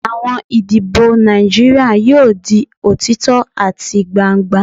Awọn idibo Naijiria yoo di otitọ ati gbangba